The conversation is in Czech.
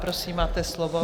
Prosím, máte slovo.